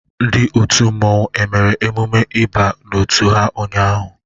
Ndị otu mmanwu e mere emume ịba n'otu ha ụnyaahụ?